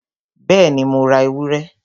Bẹ́ẹ̀ni, Mo ra ewúrẹ?